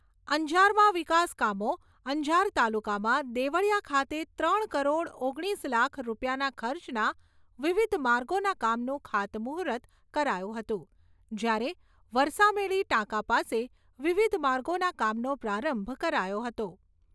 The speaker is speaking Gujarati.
અંજારમાં વિકાસકામો અંજાર તાલુકામાં દેવળીયા ખાતે ત્રણ કરોડ ઓગણીસ લાખ રૂપિયાના ખર્ચના વિવિધમાર્ગોના કામનું ખાતમુહૂર્ત કરાયું હતું જ્યારે વરસામેડી ટાંકા પાસે વિવિધ માર્ગોના કામનો પ્રારંભ કરાયો હતો.